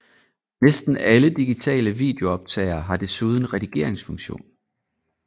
Næsten alle digitale videooptagere har desuden redigeringsfunktion